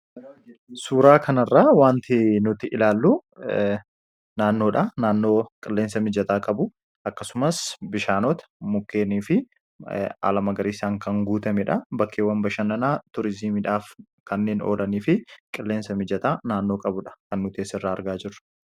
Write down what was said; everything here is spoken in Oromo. Suuraa kanarraa wanti nuti ilaallu naannoodha. Naannoo qilleensa mijataa qabu, akkasumas bishaanota, mukeenii fi haala magariisaan kan guutamedha. Bakkeewwan bashannanaa turiizimiidhaaf kanneen oolanii fi qilleensa mijataa naannoo qabudha kan nuti asirraa argaa jirru.